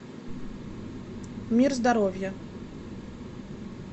мир здоровья